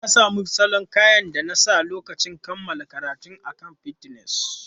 Na sami salon kayan da na sa a lokacin kammala karatuna akan Pinterest.